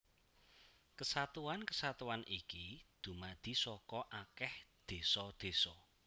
Kesatuan kesatuan iki dumadi saka akèh désa désa